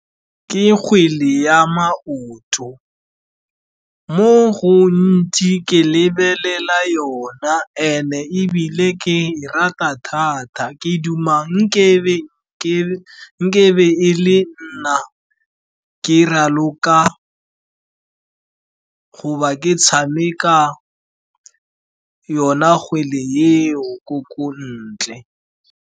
Ke kgwele ya maoto, mo gontsi ke lebelela yona and-e ebile ke e rata thata ke duma nkebe e le nna ke raloka goba ke tshameka yona kgwele eo ko ntle.